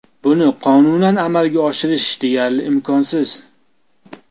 Buni qonunan amalga oshirish deyarli imkonsiz.